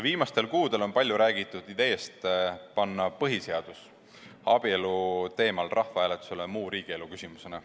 Viimastel kuudel on palju räägitud ideest panna põhiseadus abielu teemal rahvahääletusele muu riigielu küsimusena.